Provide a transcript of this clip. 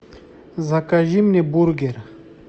закажи мне бургер